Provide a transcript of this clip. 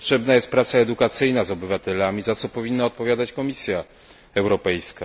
Potrzebna jest praca edukacyjna z obywatelami, za co powinna odpowiadać Komisja Europejska.